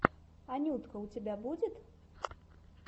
анютка у тебя будет